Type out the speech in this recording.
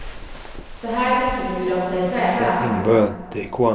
Så här beskriver de sig själva.